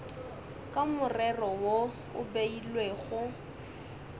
ka morero wo o beilwego